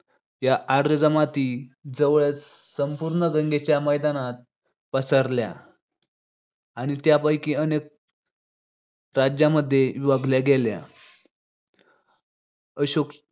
या आर्य जमाती जवळजवळ संपूर्ण गंगेच्या मैदानात पसरल्या आणि त्यापैकी अनेक राज्यमध्ये विभागल्या गेल्या. अशोक